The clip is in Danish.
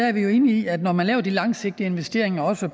er vi jo enige i at når man laver de langsigtede investeringer også